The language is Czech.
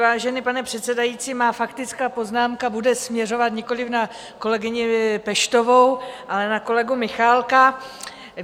Vážený pane předsedající, má faktická poznámka bude směřovat nikoli na kolegyni Peštovou, ale na kolegu Michálka.